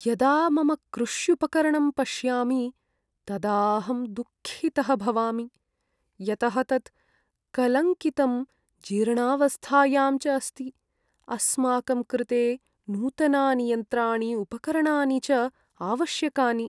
यदा मम कृष्युपकरणं पश्यामि तदा अहं दुःखितः भवामि, यतः तत् कलङ्कितं, जीर्णावस्थायां च अस्ति, अस्माकं कृते नूतनानि यन्त्राणि उपकरणानि च आवश्यकानि।